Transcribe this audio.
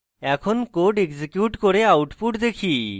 এখন code execute করে output দেখি